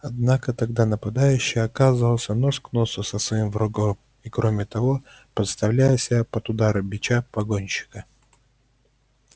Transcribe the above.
однако тогда нападающий оказывался нос к носу со своим врагом и кроме того подставляя себя под удары бича погонщика